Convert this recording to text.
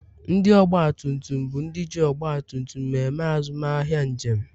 ndị ọgba tum tum bụ ndị ji ọgba tum tum eme azụmahịa njem